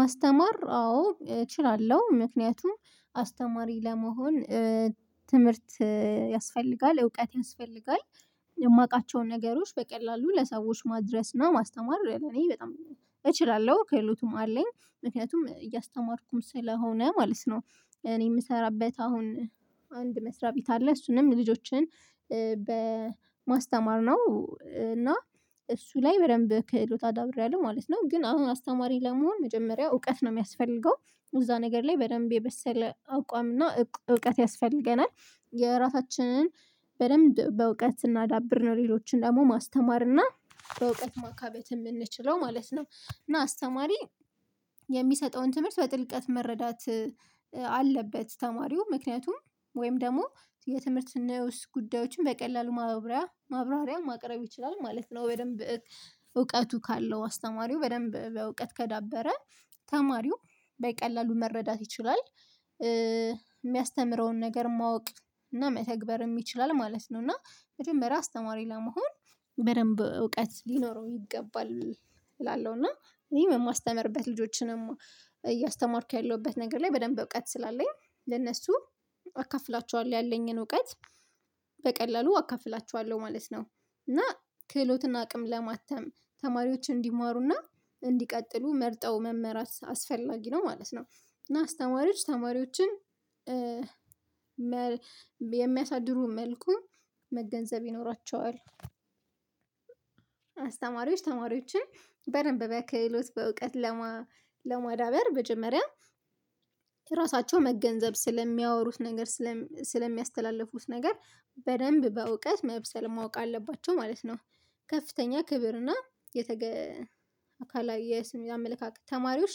ማስተማር አዎ እችላለሁ ምክንያቱም አስተማሪ ለመሆን ትምህርት ያስፈልጋል እውቀት ያስፈልጋል የማውቃቸውን ነገሮች በቀላሉ ለሰዎች ማድረስ ነው ማስተማር ለእኔ በጣም እችላለሁ ክህሎትም አለኝ ምክንያቱም እያስተማርኩም ስለሆነ ማለት ነው። እኔ የምሰራበት አሁን አንድ መስሪያ ቤት አለ እሱንም ልጆችን በማስተማር ነው እና እሱ ላይ በደንብ ክህሎት አዳብሬያለሁ ማለት ነው። ግን አሁን አስተማሪ ለመሆን መጀመሪያ እውቀት ነው የሚያስፈልገው እዛ ነገር ላይ በደንብ የበሰለ አቋም እና እውቀት ያስፈልገናል የራሳችንን በደንብ በእውቀት ስናዳብር ነው ሌሎችን ደግሞ ማስተማር እና በእውቀት ማካበት የምንችለው ማለት ነው። እና አስተማሪ የሚሰጠውን ትምህርት በጥልቀት መረዳት አለበት ተማሪው ምክንያቱም ወይም ደግሞ የትምህርት ነኡስ ጉዳዮችን በቀላሉ ማብራሪያ ማብራሪያ ማቅረብ ይችላሉ ማለት ነው። በደንብ እውቀቱ ካለው አስተማሪው በደንብ በእውቀት ከዳበረ ተማሪው በቀላሉ መረዳት ይችላል የሚያስተምረውን ነገር ማወቅ እና መተግበር የሚችል ማለት ነው። እና መጀመሪያ አስተማሪ ለመሆን በደንብ እውቀት ሊኖረው ይገባል እላለሁ እና እኔ የማስተምርበት ልጆችንም እያስተማርኩ ያለሁበት ነገር ላይ በደንብ እውቀት ስላለኝ ለእነሱ አካፍላቸዋለሁ ያለኝን እውቀት በቀላሉ አካፍላቸዋለሁ ማለት ነው። እና ክህሎትን አቅም ለማተም ተማሪዎች እንዲማሩና እንዲቀጥሉ መርጠው መመራት አስፈላጊ ነው ማለት ነው። እና አስተማሪዎች ተማሪዎችን የሚያሳድሩ መልኩ መገንዘብ ይኖራቸዋል አስተማሪዎች ተማሪዎችን በደንብ በ ክህሎት በእውቀት ለማ ለመዳበር መጀመሪያ ራሳቸው መገንዘብ ስለሚያወሩት ነገር ስለሚያስተላልፉት ነገር በደንብ በእውቀት መብሰል ማወቅ አለባቸው ማለት ነው። ከፍተኛ ክብር እና የተገ አካል የስም የአመለካከት ተማሪዎች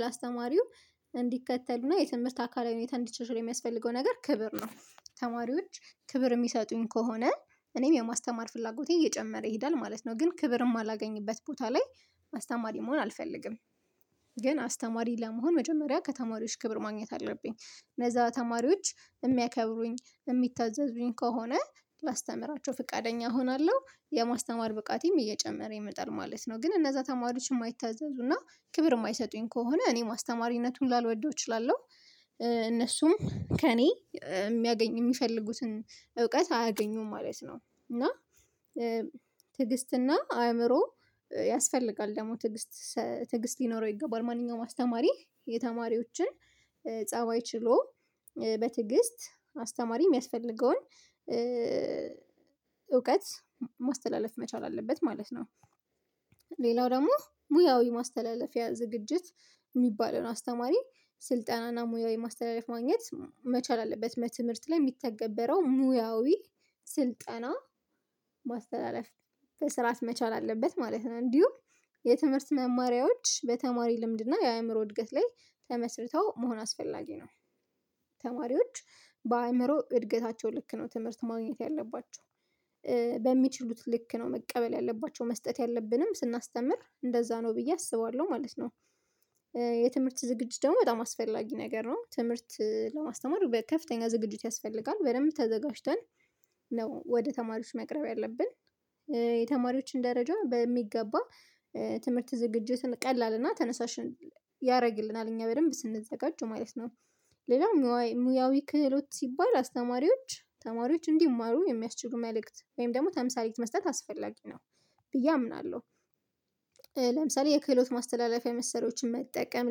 ላአስተማሪው እንዲከተልና የትምህርት አካላዊ ሁኔታ እንዲሻሸል የሚያስፈልገው ነገር ክብር ነው ተማሪዎች ክብር የሚሰጡኝ ከሆነ እኔም የማስተማር ፍላጎቴ እየጨመረ ይሄዳል ማለት ነው። ግን ክብር የማላገኝበት ቦታ ላይ አስተማሪ መሆን አልፈልግም። ግን አስተማሪ ለመሆን መጀመሪያ ከተማሪዎች ክብር ማግኘት አለብኝ እነዛ ተማሪዎች የሚያከብሩኝ የሚታዘዙኝ ከሆነ ላስተምራቸው ፍቃደኛ እሆናለሁ የማስተማር ብቃቴም እየጨመረ ይመጣል ማለት ነው። ግን እነዛ ተማሪዎች የማይታዘዙና ክብር የማይሰጡኝ ከሆነ እኔም አስተማሪነቱን ላልወደው እችላለሁ እነሱም ከእኔ የሚያገኝ የሚፈልጉትን እውቀት አያገኙም ማለት ነው። እና ትዕግስትና አእምሮ ያስፈልጋል ደግሞ ትግስት ትግስት ሊኖረው ይገባል ማንኛውም አስተማሪ የተማሪዎችን ፀባይ ችሎ በትዕግስት አስተማሪ የሚያስፈልገውን እውቀት ማስተላለፍ መቻል አለበት ማለት ነው። ሌላው ደግሞ ሙያዊ ማስተላለፊያ ዝግጅት የሚባለውን አስተማሪ ስልጠናና ሙያዊ ማስተላለፍ ማግኘት መቻል አለበት በትምህርት ላይ የሚተገበረው ሙያዊ ስልጠና ማስተላለፍ በስርዓት መቻል አለበት ማለት ነው። እንዲሁ የትምህርት መማሪያዎች በተማሪ ልምድና የአእምሮ እድገት ላይ ተመስርተው መሆን አስፈላጊ ነው። ተማሪዎች በአእምሮ እድገታቸው ልክ ነው ትምህርት ማግኘት ያለባቸው በሚችሉት ልክ ነው መቀበል ያለባቸው መስጠት ያለብንም ስናስተምር እንደዛ ነው ብዬ አስባለሁ ማለት ነው። የትምህርት ዝግጅት ደግሞ በጣም አስፈላጊ ነገር ነው ትምህርት ለማስተማር ከፍተኛ ዝግጅት ያስፈልጋል በደንብ ተዘጋጅተን ነው ወደ ተማሪዎች መቅረብ ያለብን የተማሪዎችን ደረጃ በሚገባ ትምህርት ዝግጅትን ቀላልና ተነሳሽ ያደርግልናል እኛ በደንብ ስንዘጋጅ ማለት ነው። ሌላው ሙያዊ ክህሎት ሲባል አስተማሪዎች ተማሪዎች እንዲማሩ የሚያስችሉ መልእክት ወይም ደግሞ ተምሳሌት መስጠት አስፈላጊ ነው ብዬ አምናለሁ። ለምሳሌ የክህሎት ማስተላለፊያ መሰረያዋችን መጠቀም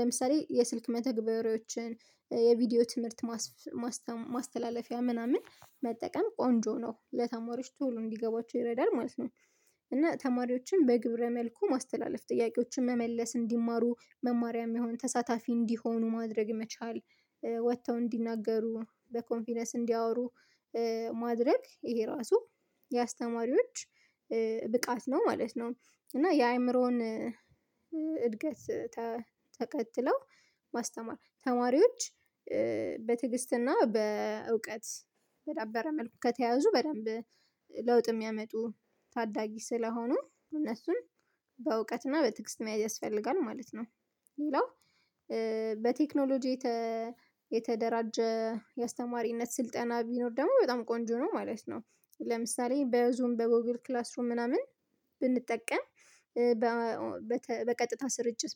ለምሳሌ የስልክ መተግበሪያዎችን የቪዲዮ ትምህርት ማስተ ማስተላለፊያ ምናምን መጠቀም ቆንጆ ነው ለተማሪዎች ቶሎ እንዲገባቸው ይረዳል ማለት ነው። እና ተማሪዎችን በግብረ መልኩ ማስተላለፍ ጥያቄዎችን መመለስ እንዲማሩ መማሪያ የሚሆን ተሳታፊ እንዲሆኑ ማድረግ መቻል ወጥተው እንዲናገሩ በኮንፊደንስ እንዲያወሩ ማድረግ ይሄ ራሱ የአስተማሪዎች ብቃት ነው ማለት ነው። እና የአእምሮን እድገት ተከትለው ማስተማር ተማሪዎች በትዕግስትና በእውቀት በዳበረ መልኩ ከተያዙ በደንብ ለውጥ የሚያመጡ ታዳጊ ስለሆኑ እነሱም በእውቀትና በትዕግስት መያዝ ያስፈልጋል ማለት ነው። ሌላው በቴክኖሎጂ የተደራጀ የአስተማሪነት ስልጠና ቢኖር ደግሞ በጣም ቆንጆ ነው ማለት ነው። ለምሳሌ በዙም በጎግል ክላስ ሩም ምናምን ብንጠቀም በቀጥታ ስርጭት